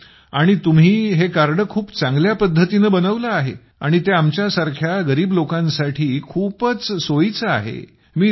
sir आणि तुम्ही हे कार्ड खूप चांगल्या पद्धतीने बनवले आहे आणि ते आमच्यासारख्या गरीब लोकांसाठी खूपच सोयीचे आहे